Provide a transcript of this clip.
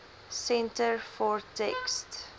centre for text